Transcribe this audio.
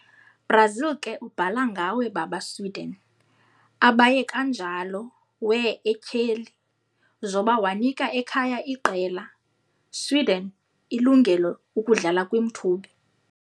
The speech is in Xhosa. Brazil ke ubhala ngawe baba Sweden, abaye kanjalo wear etyheli, zoba wanika ekhaya iqela, Sweden, ilungelo ukudlala kwi-mthubi.